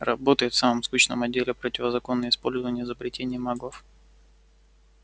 работает в самом скучном отделе противозаконное использование изобретений маглов